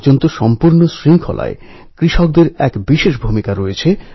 তিনি বলেছিলেন স্বরাজ আমার জন্মগত অধিকার এবং সে অধিকার অর্জন করেই ছাড়বো